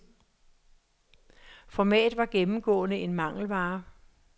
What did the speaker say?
Format var gennemgående en mangelvare.